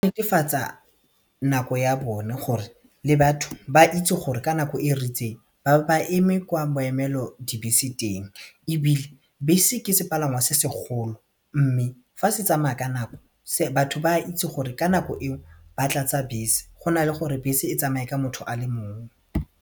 netefatsa nako ya bone gore le batho ba itse gore ka nako e ritseng ba bo ba eme kwa boemelodibese teng ebile bese ke sepalangwa se segolo mme fa se tsamaya ka nako batho ba itse gore ka nako eo ba tlatsa bese go na le gore bese e tsamaye ka motho a le mongwe.